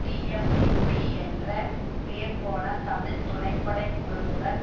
TMVP என்ற பேர்போன தமிழ் துணைப்படை குழுவுடன்